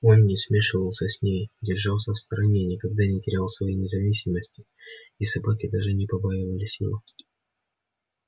он не смешивался с ней держался в стороне никогда не терял своей независимости и собаки даже не побаивались его